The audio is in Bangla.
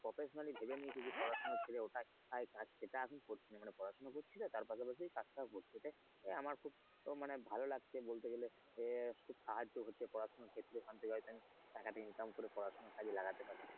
professionally ভেবে নিয়েছি যে পড়াশোনা ছেড়ে ওটাই কাজ সেটা ওটা আমি করছি না মানে পড়াশোনা করছি তো তার পাশাপাশি কাজটা হচ্ছে আমার খুব মানে ভালো লাগছে। বলতে গেলে যে কাজও হচ্ছে পড়াশোনার ক্ষেত্রে কাজের টাকাটা income করে কাজে লাগাতে পারছি।